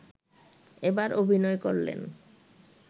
এবার অভিনয় করলেন